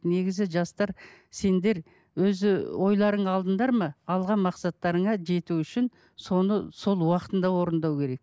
негізі жастар сендер өзі ойларыңа алдыңдар ма алған мақсаттарыңа жету үшін соны сол уақытында орындау керек